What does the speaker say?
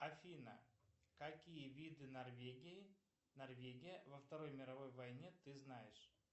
афина какие виды норвегии норвегия во второй мировой войне ты знаешь